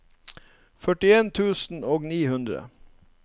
førtien tusen og ni hundre